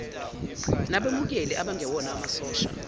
nabemukeli abangewona amasosha